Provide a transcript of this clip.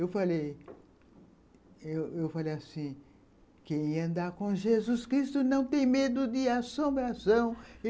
Eu falei eu falei assim, quem andar com Jesus Cristo não tem medo de assombração.